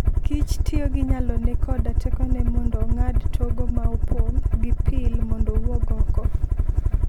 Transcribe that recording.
kich tiyo gi nyalone koda tekone mondo ong'ad togo ma opong' gi pil mondo owuog oko.